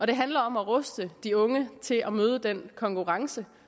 det handler om at ruste de unge til at møde den konkurrence